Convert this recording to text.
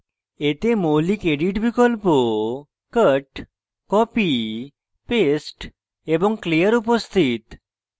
এতে মৌলিক edit বিকল্প cut copy paste এবং clear উপস্থিত রয়েছে